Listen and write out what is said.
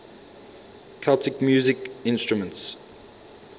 celtic musical instruments